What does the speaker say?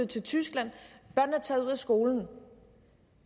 til tyskland og taget ud af skolen